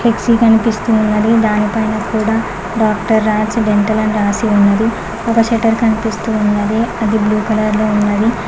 Flexi కనిపిస్తూ ఉన్నది దాని పైన కూడా డాక్టర్ రాజ్ డెంటల్ అని రాసి ఉన్నది ఒక షేటర్ కనిపిస్తూ ఉన్నది అది బ్లూ కలర్ లో ఉన్నది.